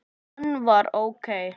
Hann var ókei.